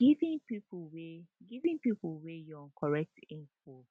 giving pipo wey giving pipo wey young correct info